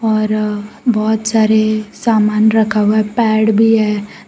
और बहोत सारे सामान रखा हुआ है पैड भी है।